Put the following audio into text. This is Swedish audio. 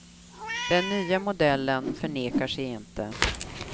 Den nya modellen förnekar sig inte.